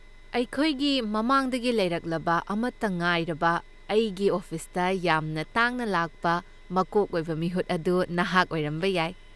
ꯑꯩꯈꯣꯏꯒꯤ ꯃꯃꯥꯡꯗꯒꯤ ꯂꯩꯔꯛꯂꯕ ꯑꯃꯠꯇ ꯉꯥꯏꯔꯕ, ꯑꯩꯒꯤ ꯑꯣꯐꯤꯁꯇ ꯌꯥꯝꯅ ꯇꯥꯡꯅ ꯂꯥꯛꯄ ꯃꯀꯣꯛ ꯑꯣꯏꯕ ꯃꯤꯍꯨꯠ ꯑꯗꯨ ꯅꯍꯥꯛ ꯑꯣꯏꯔꯝꯕ ꯌꯥꯏ꯫